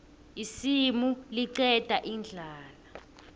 isimu liqeda indlala